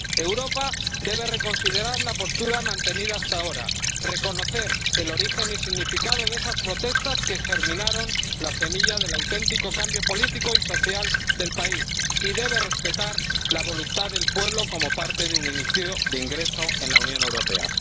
Europa debe reconsiderar la postura mantenida hasta ahora, reconocer el origen y significado de esas protestas que germinaron la semilla del auténtico cambio político y social del país y respetar la voluntad del pueblo como parte de un inicio de ingreso en la Unión Europea.